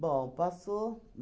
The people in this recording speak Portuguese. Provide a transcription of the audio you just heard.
Bom, passou.